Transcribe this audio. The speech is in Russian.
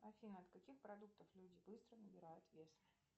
афина от каких продуктов люди быстро набирают вес